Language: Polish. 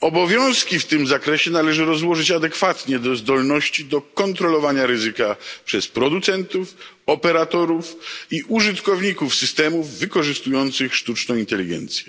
Obowiązki w tym zakresie należy rozłożyć adekwatnie do zdolności do kontrolowania ryzyka przez producentów, operatorów i użytkowników systemów wykorzystujących sztuczną inteligencję.